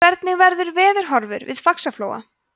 hvernig verður veðurhorfur við faxaflóa